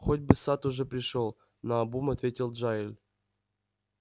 хоть бы сатт уже пришёл наобум ответил джаэль